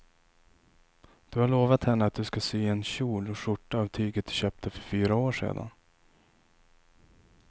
Du har lovat henne att du ska sy en kjol och skjorta av tyget du köpte för fyra år sedan.